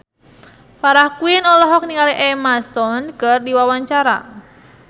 Farah Quinn olohok ningali Emma Stone keur diwawancara